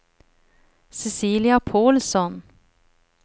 Cecilia Paulsson